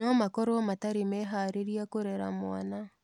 No makorũo matarĩ meharĩria kũrera mwana.